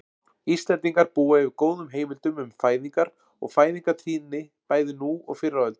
Íslendingar búa yfir góðum heimildum um fæðingar og fæðingartíðni bæði nú og fyrr á öldum.